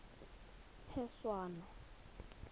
phešwana